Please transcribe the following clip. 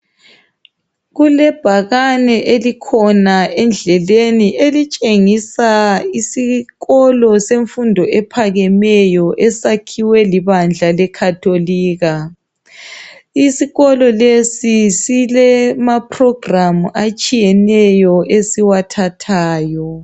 kulebhakane elikhona endleleni elitshengisa isikolo semfundo ephakemeyo esakhiwe libandla le catholic isikolo lesi silama program atshiyeneyo esiwathathayo